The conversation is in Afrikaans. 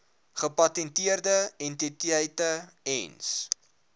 gepatenteerde entiteite ens